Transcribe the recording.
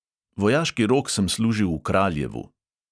Vojaški rok sem služil v kraljevu.